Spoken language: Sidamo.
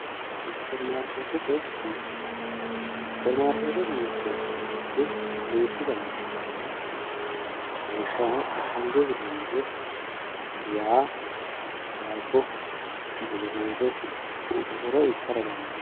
superimaarkeetete mirte elekitiroonikise yineemmoti duuchu dani mirte no lawishshaho ashshange hirrannire waa daabbo busukuute koshoro ikkara dandaanno.